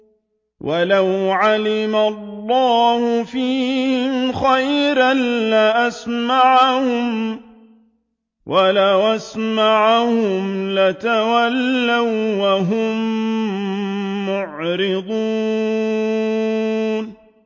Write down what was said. وَلَوْ عَلِمَ اللَّهُ فِيهِمْ خَيْرًا لَّأَسْمَعَهُمْ ۖ وَلَوْ أَسْمَعَهُمْ لَتَوَلَّوا وَّهُم مُّعْرِضُونَ